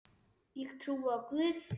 Ég trúi á Guð!